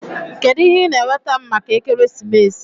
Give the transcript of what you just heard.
Kedu ihe ị na-enweta m maka ekeresimesi?